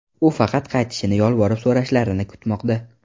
U faqat qaytishini yolvorib so‘rashlarini kutmoqda.